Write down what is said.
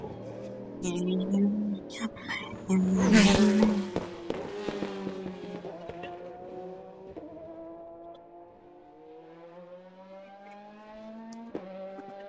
Skapti á stól og var að gefa kópnum síld.